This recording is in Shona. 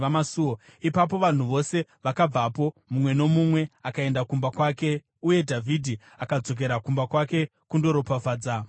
Ipapo vanhu vose vakabvapo, mumwe nomumwe akaenda kumba kwake, uye Dhavhidhi akadzokera kumba kwake kundoropafadza mhuri yake.